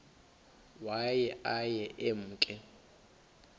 waye aye emke